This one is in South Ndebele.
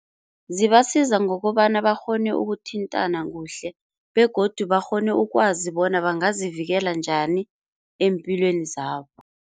Zibasiza ngokobana bakghone ukuthintana kuhle begodu bakghone ukwazi bona bangazivikela njani eempilweni zabo.